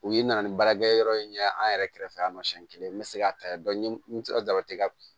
U ye n nana ni baarakɛ yɔrɔ in ɲɛ an yɛrɛ kɛrɛfɛ an ma siɲɛ kelen n bɛ se k'a ta n sera ka